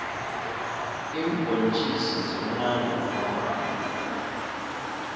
iimbhontjisi zimunandi kwamambhala